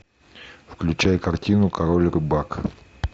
включай картину король рыбак